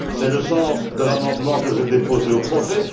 C'est le sens de l'amendement que j'ai déposé au projet.